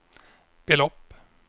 belopp